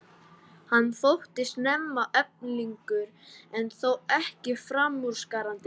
Hann þótti snemma efnilegur en þó ekki framúrskarandi.